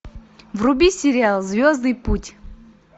вруби сериал звездный путь